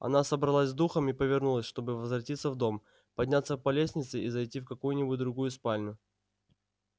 она собралась с духом и повернулась чтобы возвратиться в дом подняться по лестнице и зайти в какую-нибудь другую спальню